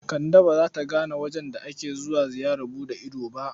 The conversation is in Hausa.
Kande ba za ta gane wajen da ake zuwa ziyarar buɗe ido ba.